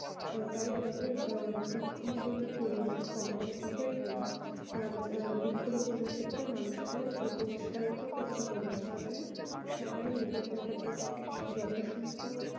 ওটাই আমাদের আহ বৃক্ষ রোপনে পরিমান কমাতে হবে এবং বৃক্ষ রোপেন ক্ষেত্রে মানুষ দের উৎসাহিত করতে হবে যাদের সবাই নিজের দের যত সম্ভব